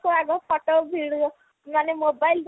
ଲୋକ ଆଗ photo ମାନେ mobile ଦ୍ଵାରା ଆଗ